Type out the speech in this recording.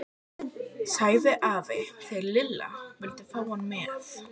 sagði afi þegar Lilla vildi fá hann með.